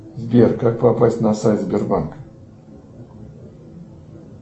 сбер как попасть на сайт сбербанка